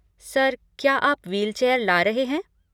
Sir, क्या आप wheelchair ला रहे हैं?